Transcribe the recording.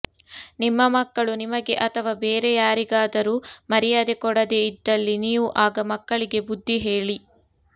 ನಿಮ್ಮ ಮಕ್ಕಳು ನಿಮಗೆ ಅಥವಾ ಬೇರೆ ಯಾರಿಗಾದರೂ ಮರ್ಯಾದೆ ಕೊಡದೆ ಇದ್ದಲಿ ನೀವು ಆಗ ಮಕ್ಕಳಿಗೆ ಬುದ್ದಿಹೇಳಿ